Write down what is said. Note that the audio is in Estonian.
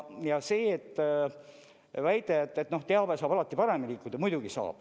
Ja see väide, et teave saab alati paremini liikuda – muidugi saab.